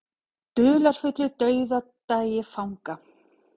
Dularfullur dauðdagi fanga